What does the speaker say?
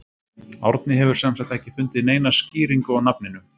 Árni hefur sem sagt ekki fundið neina skýringu á nafninu.